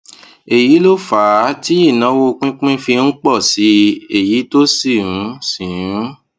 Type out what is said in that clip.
èyí ló fà á tí ìnáwó pínpín fi ń pọ sí i èyí tó sì ń sì ń